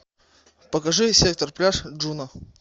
покажи сектор пляж джуно